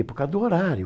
Por causa do horário.